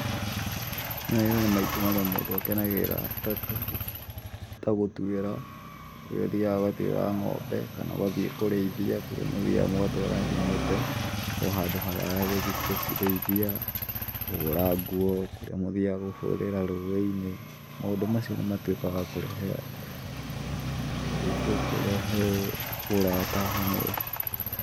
Mawĩra nĩ maingĩ maria mũndũ akenagĩrira ta, ta gũtuĩra, kũrĩa ũthiaga ũgatuĩra ng'ombe, kana ũgathiĩ kũrĩithia kũrĩa mũthiaga mũgatwara ng'ombe o handũ haraya gũthiĩ gũcirĩithia, kũhũra nguo kũrĩa mũthiaga kũhũrĩra rũĩ-inĩ. Maũndũ macio nĩ matuĩkaga wa kũrehe, kũrehe ũrata hamwe.